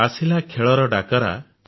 ଆସିଲା ଖେଳର ଡାକରା